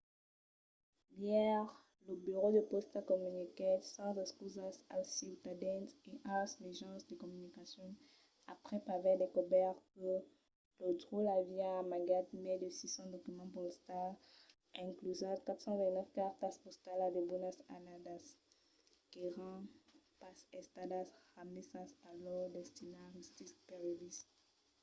ièr lo burèu de pòsta comuniquèt sas excusas als ciutadans e als mejans de comunicacion aprèp aver descobèrt que lo dròlle aviá amagat mai de 600 documents postals inclusas 429 cartas postalas de bona annada qu’èran pas estadas remesas a lors destinataris previstes